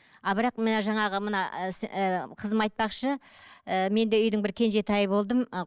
а бірақ мына жаңағы мына ііі қызым айтпақшы ііі мен де үйдің бір кенжетайы болдым ы